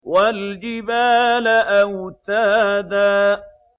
وَالْجِبَالَ أَوْتَادًا